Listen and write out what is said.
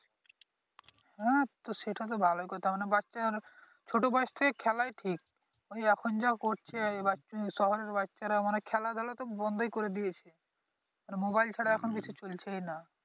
হ্যাঁ তো সেটাতো ভালোই কথা মানে বাচ্চারা মানে ছোট বয়স থেকে খেলাই ঠিক ওই এখন যা করছে এই বাচ্চা শহরের বাচ্চারা মানে খেলাধুলা তো বন্ধই করে দিয়েছে মানে মোবাইল ছাড়া এখন কিছু চলছেই নাহ।